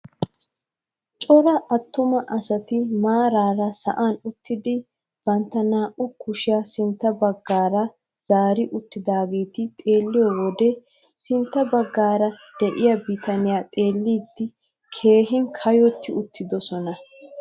Cora attuma asati maarara sa'an uttidi bantta naa"u kushiyaa sintta baggi zaari uttidaageti xeelliyoo wode sintta baggara de'iyaa bitaniyaa xeellidi keehi kayotti uttidosona!